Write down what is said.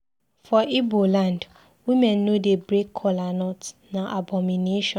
For Ibo land, women no dey break colanut, na abomination.